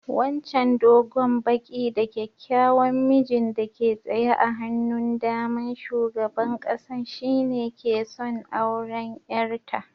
Wancan dogon, baki da kyakkyawan mijin da ke tsaye a hannun da'man sugaban kasan shine ke son auren yar ta.